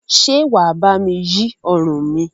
Ṣé wà bá mi yí ọrùn mi?